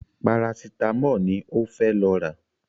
Parasítámọ̀ ni ó fẹ́ lọ rà